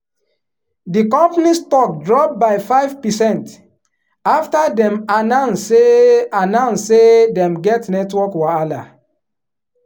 di company stock drop by five percent after dem announce say announce say dem get network wahala.